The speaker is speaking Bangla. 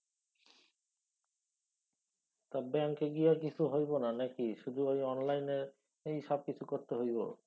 তা ব্যাঙ্কে গিয়া কিছু হইব না নাকি? শুধু ঐ অনলাইনই সব কিছু করতে হইব?